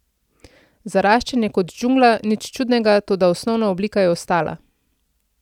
Zaraščen je kot džungla, nič čudnega, toda osnovna oblika je ostala.